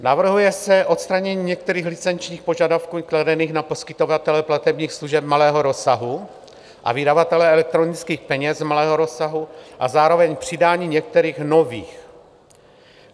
Navrhuje se odstranění některých licenčních požadavků kladených na poskytovatele platebních služeb malého rozsahu a vydavatele elektronických peněz malého rozsahu a zároveň přidání některých nových.